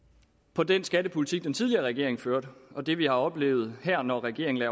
på den skattepolitik som den tidligere regering førte og det vi har oplevet her når regeringen